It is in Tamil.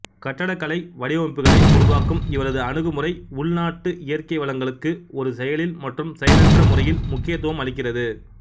கட்டடக்கலை வடிவமைப்புகளை உருவாக்கும் இவரது அணுகுமுறை உள்நாட்டு இயற்கை வளங்களுக்கு ஒரு செயலில் மற்றும் செயலற்ற முறையில் முக்கியத்துவம் அளிக்கிறது